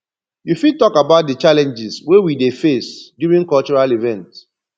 you fit talk about di challenges wey we dey face during cultural events